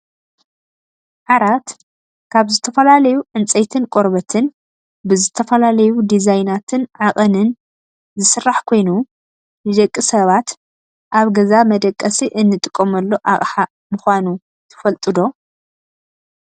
ዓራት ካብ ዝተፈላለዩ ዕንፀይትን ቆርበትን ብዝተፈላለዩ ዲዛይናትን ዓቀንን ዝስራሕ ኮይኑ ንደቂ ሰባት ኣብ ገዛ መደቀሲ እንጥቀመሉ ኣቅሓ ምኳኑ ትፈልጡ ዶ ?